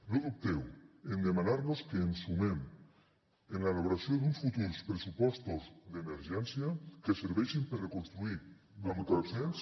no dubteu en demanar nos que ens sumem a l’elaboració d’un futurs pressupostos d’emergència que serveixin per a reconstruir amb consens